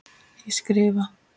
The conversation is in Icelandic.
Ég skrifa.